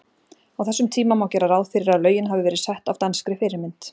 Á þessum tíma má gera ráð fyrir að lögin hafi verið sett af danskri fyrirmynd.